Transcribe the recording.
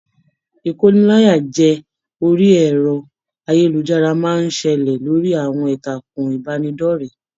Ikóníláyàjẹ̀ orí ẹrọ ayélujára máa n ṣẹlẹ lórí àwọn ìtàkùn ìbánidọ̀rẹ̀.